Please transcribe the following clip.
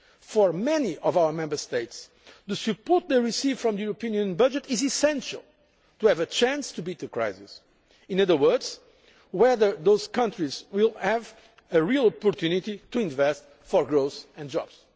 For many of our Member States the support they receive from the Union budget is essential if they are to have a chance of beating the crisis in other words, it determines whether those countries will have a real opportunity to invest for growth and